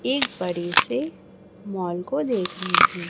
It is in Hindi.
एक बड़ी से मॉल को देख रहे हैं।